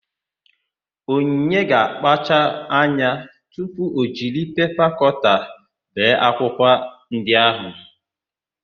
Onyinye ga-akpacha anya tupu o jiri pepa kọta bee akwụkwọ ndị áhụ̀.